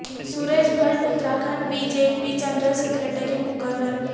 Suresh Bhatt Uttarakhand B J P general secretary مقرر